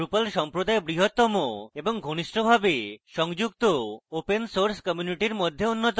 drupal সম্প্রদায় বৃহত্তম এবং ঘনিষ্ঠভাবে সংযুক্ত open source community মধ্যে অন্যতম